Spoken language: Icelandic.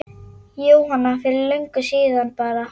Jóhanna: Fyrir löngu síðan bara?